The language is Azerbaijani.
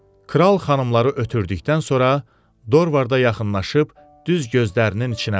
Kral xanımları ötdükdən sonra Dorvarda yaxınlaşıb düz gözlərinin içinə baxdı.